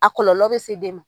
A kɔlɔlɔ bɛ se den ma.